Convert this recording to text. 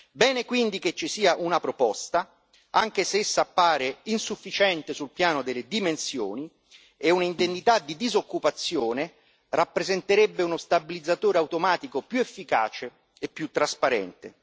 Bene quindi che ci sia una proposta, anche se essa appare insufficiente sul piano delle dimensioni, e un'indennità di disoccupazione rappresenterebbe uno stabilizzatore automatico più efficace e più trasparente.